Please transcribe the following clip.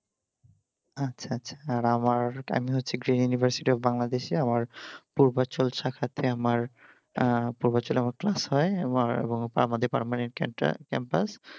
আচ্ছা আচ্ছা আর আমার আমি হচ্ছি green university of বাংলাদেশ এ আমার পূর্বাচল সাক্ষাতে আমার প্রবচল class হয় আবার এবং আমাদের permanent একটা campus